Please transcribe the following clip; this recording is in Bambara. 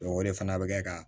o de fana bɛ kɛ ka